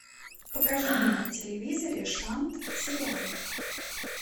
покажи мне на телевизоре шант сериал